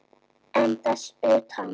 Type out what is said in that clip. En þess utan?